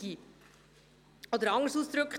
Oder, anderes ausgedrückt: